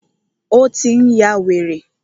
Ó tí n yá wèrè.